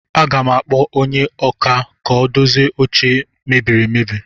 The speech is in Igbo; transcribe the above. Aga m akpọ onye ọkà ka o dozie oche a mebiri emebi